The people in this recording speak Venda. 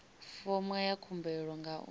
fomo ya khumbelo nga u